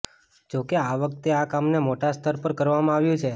જો કે આ વખતે આ કામને મોટા સ્તર પર કરવામાં આવ્યું છે